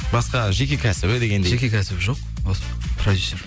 басқа жеке кәсібі дегендей жеке кәсібі жоқ осы продюсер